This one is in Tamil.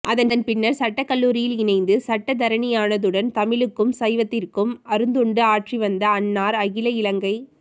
அதன் பின்னர் சட்டக்கல்லூரியில் இணைந்து சட்டத்தரணியானதுடன் தமிழுக்கும் சைவத்திற்கும் அருந்தொண்டு ஆற்றிவந்த அன்னார் அகில இலங்கை